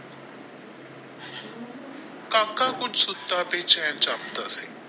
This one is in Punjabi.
ਕਾਕਾ ਕੁਝ ਸੁੱਤਾ ਬੇਚੈਨ ਜਾਪਦਾ ਸੀ।